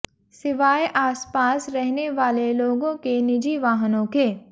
सिवाय आस पास रहने वाले लोगों के निजी वाहनों के